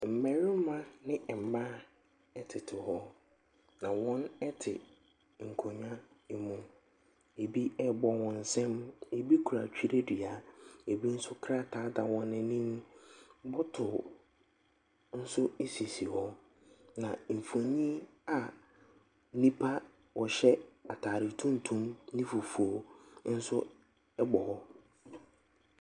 Mmarima ne mmaa tete hɔ, na wɔte nkonnwa mu. Ebi rebɔ wɔn nsam, ebi kura twerɛdua, ebi nso, krataa da wɔn anim. Bottle nso sisi hɔ, na mfonin a nnipa a wɔhyɛ atade tuntum ne fufuo nso bɔ hɔ.